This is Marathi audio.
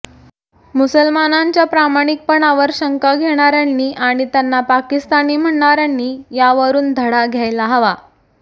मुसलमानांच्या प्रामाणिकपणावर शंका घेणाऱ्यांनी आणि त्यांना पाकिस्तानी म्हणणाऱ्यांनी यावरून धडा घ्यायला हवा